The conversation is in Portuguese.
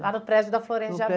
Lá no prédio da Florêncio de